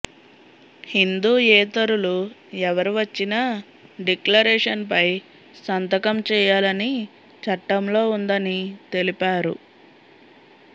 హిందూయేతరులు ఎవరు వచ్చినా డిక్లరేషన్ పై సంతకం చేయాలని చట్టంలో ఉందని తెలిపారు